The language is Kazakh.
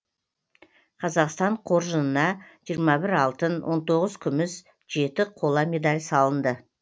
қазақстан қоржынына жиырма бір алтын он тоғыз күміс жеті қола медаль салынды